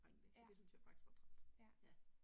Det syntes jeg faktisk var træls. Ja